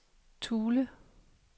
Thule